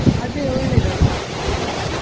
ಅದೇ ಒಳ್ಳೇದಲ್ವಾ.